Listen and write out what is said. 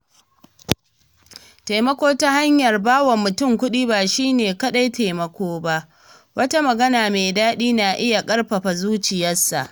Taimako ta hanyar bawa mutum kuɗi ba shi ne kaɗai taimako ba, wata magana mai daɗi na iya ƙarfafa zuciyarsa